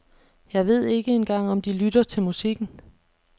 Jeg ved ikke engang om de lytter til musikken.